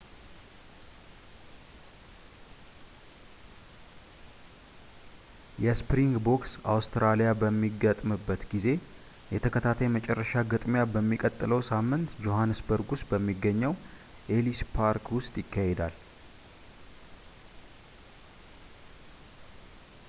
የስፕሪንግቦክስ አውስትራሊያ በሚገጥምበት ጊዜ የተከታታይ የመጨረሻ ግጥሚያ በሚቀጥለው ሳምንት ጆሃንስበርግ ውስጥ በሚገኘው ኤሊስ ፓርክ ውስጥ ይካሄዳል